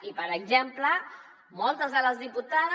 i per exemple moltes de les diputades